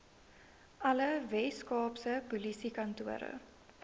alle weskaapse polisiekantore